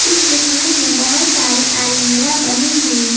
इस दुकान में बहुत सारी अलमीरा बनी हुई है।